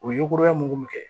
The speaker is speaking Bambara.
O ye kura ye mɔgɔ min kɛ